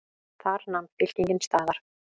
Þar nam fylkingin staðar.